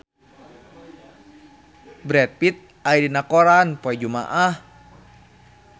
Brad Pitt aya dina koran poe Jumaah